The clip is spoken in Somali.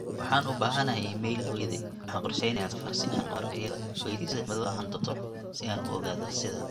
waxaan u baahanahay iimayl hooyaday, waxaan qorsheynayaa safar si aan u arko iyada, weydii sida cimiladu ahaan doonto si aan u ogaado sida